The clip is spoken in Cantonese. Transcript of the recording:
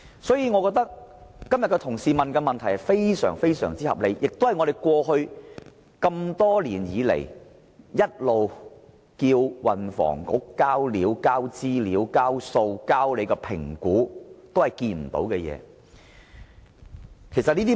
所以，我認為同事今天提出的問題十分合理，我們過去多年來不斷要求運輸及房屋局提供有關資料、數據和評估，但政府一直沒有理會。